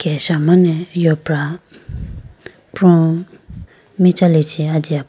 keshamane yopra pro michalichi ajiya po--